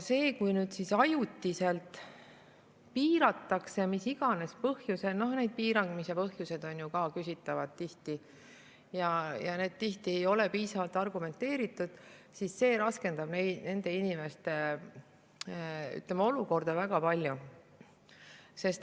Kui nüüd ajutiselt piiratakse müüki mis iganes põhjusel – noh, need piiramise põhjused on ju tihti küsitavad, need sageli ei ole piisavalt argumenteeritud –, siis see raskendab nende inimeste olukorda väga palju.